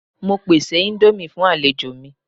Mo pese indomie fun alejo mi